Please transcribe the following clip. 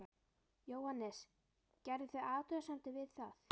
Jóhannes: Gerðuð þið athugasemdir við það?